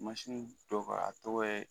dɔ ka a tɔgɔ ye